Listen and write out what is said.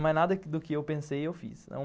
Mas nada do que eu pensei, eu fiz.